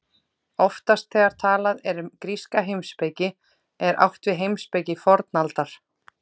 Oftast þegar talað er um gríska heimspeki er átt við heimspeki fornaldar.